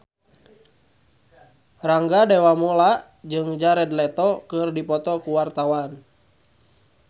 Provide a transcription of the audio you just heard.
Rangga Dewamoela jeung Jared Leto keur dipoto ku wartawan